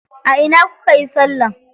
A ina kukayi salla?